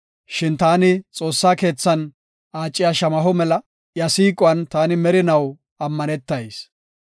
Shin taani Xoossaa keethan aaciya shamaho mela; iya siiquwan taani merinaw ammanetayis.